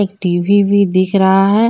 TV भी दिख रहा है।